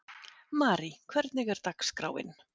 Marí, hvernig er dagskráin?